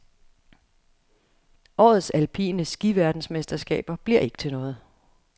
Årets alpine skiverdensmesterskaber bliver ikke til noget.